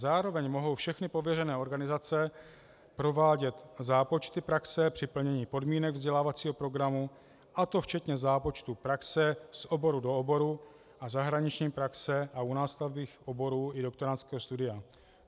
Zároveň mohou všechny pověřené organizace provádět zápočty praxe při plnění podmínek vzdělávacího programu, a to včetně zápočtu praxe z oboru do oboru a zahraniční praxe a u nástavbových oborů i doktorandského studia.